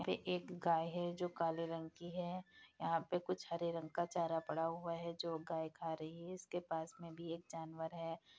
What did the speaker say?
एक गाय है जो काले रंग की है यहां पे कुछ हरे रंग का चारा पड़ा हुआ है जो गाय खा रही है इसके पास मे भी एक जानवर है।